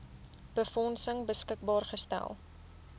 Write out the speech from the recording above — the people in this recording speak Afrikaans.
befondsing beskikbaar gestel